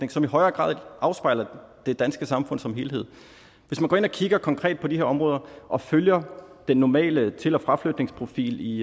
som i højere grad afspejler det danske samfund som helhed hvis man går ind og kigger konkret på de her områder og følger den normale til og fraflytningsprofil